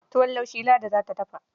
Tuwon laushi Ladi za ta dafa.